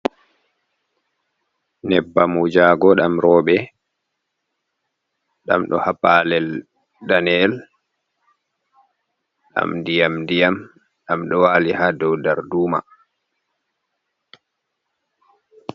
Nƴebbam wujago ɗam roɓe dam ɗo ha palel daneyel dam ndiyam-ndiyam ɗam ɗo wali ha dou dar duma.